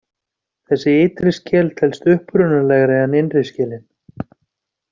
Þessi ytri skel telst upprunalegri en innri skelin.